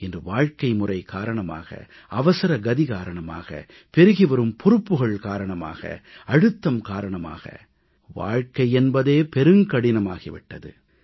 இன்று வாழ்க்கைமுறை காரணமாக அவசரகதி காரணமாக பெருகிவரும் பொறுப்புகள் காரணமாக அழுத்தம் காரணமாக வாழ்க்கை என்பதே பெருங்கடினமாகி விட்டது